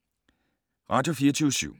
Radio24syv